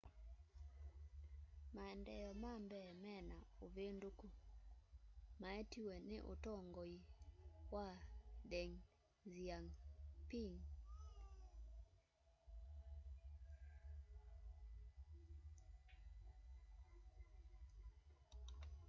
maendeeo ma mbee me na uvinduku maetiwe ni utongoi wa deng xiaoping